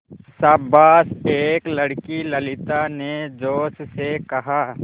शाबाश एक लड़की ललिता ने जोश से कहा